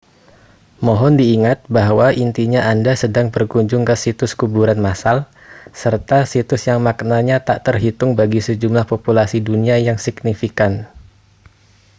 mohon diingat bahwa intinya anda sedang berkunjung ke situs kuburan massal serta situs yang maknanya tak terhitung bagi sejumlah populasi dunia yang signifikan